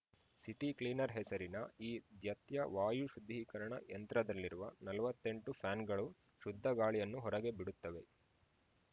city cleaner ಹೆಸರಿನ ಈ ದ್ಯತ್ಯ ವಾಯು ಶುದ್ಧೀಕರಣ ಯಂತ್ರದಲ್ಲಿರುವ ನಲವತ್ತೆಂಟು ಫ್ಯಾನ್‌ಗಳು ಶುದ್ಧಗಾಳಿಯನ್ನು ಹೊರಗೆ ಬಿಡುತ್ತವೆ